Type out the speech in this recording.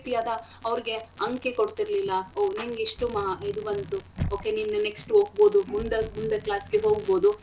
ರೀತಿಯಾದ ಅವ್ರಿಗೆ ಅಂಕೆ ಕೊಡ್ತಿರ್ಲಿಲ್ಲ ಓಹ್ ನಿಮ್ಗೆಷ್ಟು ಮಾ~ ಇದು ಬಂತು okay ನಿನ್ next ಉ ಓಗ್ಬೋದು ಮುಂದಕ್ ಮುಂದೆ class ಗೆ ಹೋಗ್ಬೋದು.